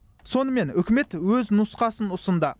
сонымен үкімет өз нұсқасын ұсынды